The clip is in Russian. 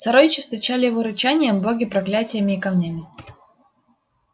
сородичи встречали его рычанием боги проклятиями и камнями